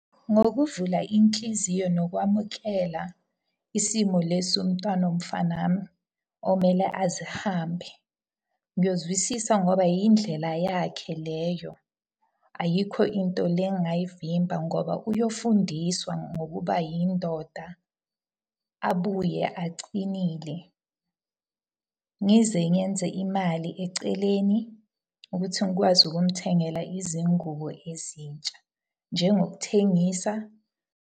Ngokuvula inhliziyo nokwamukela isimo lesi somntwana womfana wami okumele azihambe. Ngiyozwisisa ngoba yindlela yakhe leyo. Ayikho into le engingayivimba ngoba uyofundiswa ngokuba yindoda abuye acinile. Ngize ngenze imali eceleni ukuthi ngikwazi ukumuthengela izingubo ezintsha, njengokuthengisa.